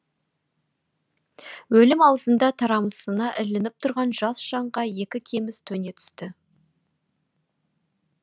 өлім аузында тарамысына ілініп тұрған жас жанға екі кеміс төне түсті